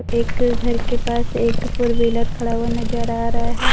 एक घर के पास एक फोर व्हीलर खड़ा हुआ नजर आ रहा है।